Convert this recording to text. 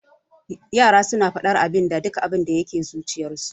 Yara suna faɗar abinda duk abinda yake zuciyarsu.